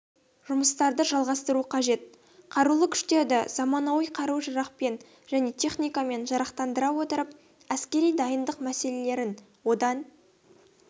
жұмыстарды жалғастыру қажет қарулы күштерді заманауи қару-жарақпен және техникамен жарақтандыра отырып әскери дайындық мәселелерін одан